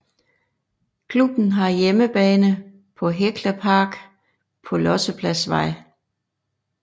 Klubben har hjemmebane på Hekla Park på Lossepladsvej